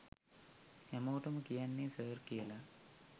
හැමෝටම කියන්නේ ‘සර්’ කියලා.